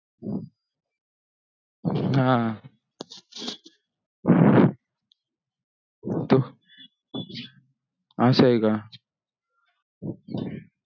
हा असा हे का